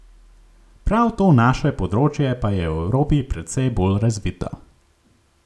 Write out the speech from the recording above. Prav to naše področje pa je v Evropi precej bolj razvito.